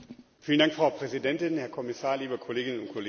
Frau Präsidentin, Herr Kommissar, liebe Kolleginnen und Kollegen!